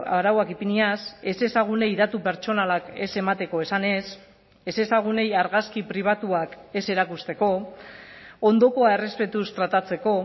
arauak ipiniaz ezezagunei datu pertsonalak ez emateko esanez ezezagunei argazki pribatuak ez erakusteko ondokoa errespetuz tratatzeko